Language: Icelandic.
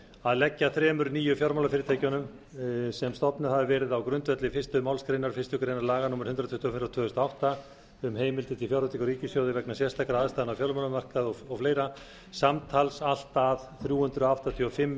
að leggja þremur nýjum fjármálafyrirtækjum sem stofnuð hafa verið á grundvelli fyrstu málsgrein fyrstu grein laga númer hundrað tuttugu og fimm tvö þúsund og átta um heimild til fjárveitingar úr ríkissjóði vegna sérstakra aðstæðna á fjármálamarkaði og fleiri samtals allt að þrjú hundruð áttatíu og fimm